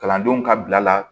Kalandenw ka bila la